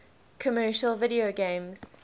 commercial video games